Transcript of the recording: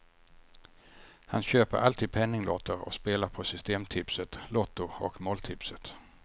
Han köper alltid penninglotter och spelar på systemtipset, lotto och måltipset.